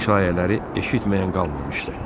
Bu şayələri eşitməyən qalmamışdı.